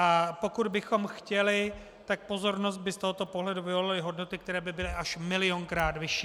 A pokud bychom chtěli, tak pozornost by z tohoto pohledu vyvolaly hodnoty, které by byly až milionkrát vyšší.